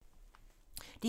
DR2